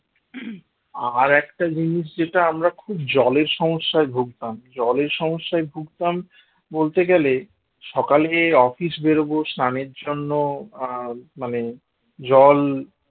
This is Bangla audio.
আর একটা জিনিস যেটা আমরা খুব জলের সমস্যায় ভুগতাম জলের সমস্যায় ভুগতাম বলতে গেলে সকালে office বেরোবো স্নানের জন্য আহ মানে জল